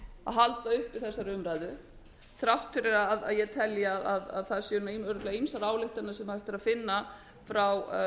halda uppi þessari umræðu þrátt fyrir að ég telji að það séu örugglega ýmsar ályktanir sem hægt er að finna frá